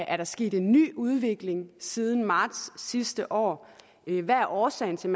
er sket en ny udvikling siden marts sidste år hvad er årsagen til